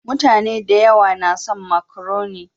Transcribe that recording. Mutane da yawa na son makaroni.